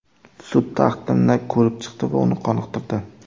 Sud taqdimni ko‘rib chiqdi va uni qoniqtirdi.